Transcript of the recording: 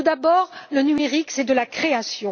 Tout d'abord, le numérique, c'est de la création.